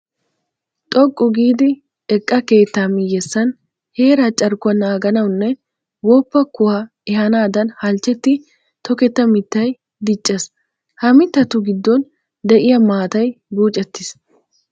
Xoqqu giidi eqqa keettaa miyyessan heeraa carkkuwa naaganawunne woppa kuwaa ehaanaadan halchchetti toketta mittay diccees. Ha mittatu giddon de'iya maatay buucettiis.